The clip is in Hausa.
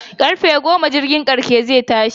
Karfe goma jirgin karshe zai tashi